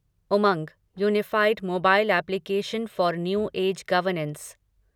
Umang unified mobile application for new age governance